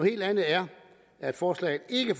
helt andet er at forslaget ikke